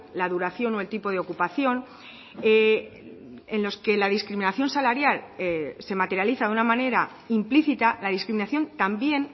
la duración o el tipo de ocupación en los que la discriminación salarial se materializa de una manera implícita la discriminación también